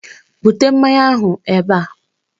Bute mmanya ahụ ebe!